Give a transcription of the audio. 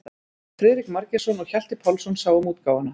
Friðrik Margeirsson og Hjalti Pálsson sáu um útgáfuna.